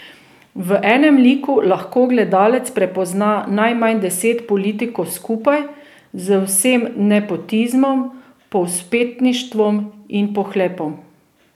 V enem liku lahko gledalec prepozna najmanj deset politikov skupaj z vsem nepotizmom, povzpetništvom in pohlepom.